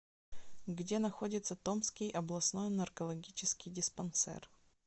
где находится томский областной наркологический диспансер